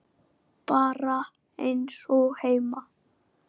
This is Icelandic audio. Bara eins og heima.